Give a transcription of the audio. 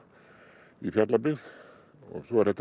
í Fjallabyggð og svo er þetta